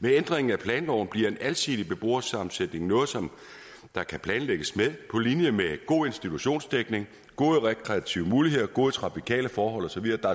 med ændringen af planloven bliver en alsidig beboersammensætning noget som der kan planlægges med på linje med god institutionsdækning gode rekreative muligheder gode trafikale forhold og så videre der